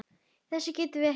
Þessu getið þið ekki svarað!